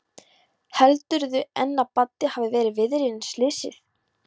Heldurðu enn að Baddi hafi verið viðriðinn slysið?